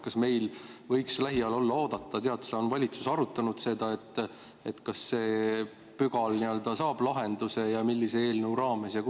Kas meil võiks olla lähiajal oodata, et see pügal nii-öelda saab lahenduse ja kunas ja millise eelnõu raames?